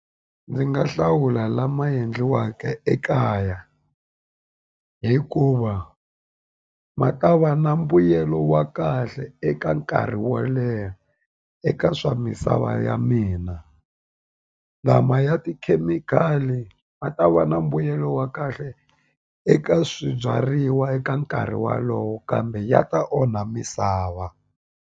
Ndzi nga hlawula lama endliwaka ekaya hikuva ma ta va na mbuyelo wa kahle eka nkarhi wo leha eka swa misava a va ya mina lama ya tikhemikhali ma ta va na mbuyelo wa kahle eka swibyariwa eka nkarhi walowo kambe ya ta onha misava.